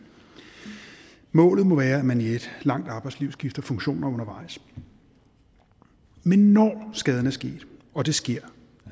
målet må være at man i et langt arbejdsliv skifter funktioner undervejs men når skaden er sket og det sker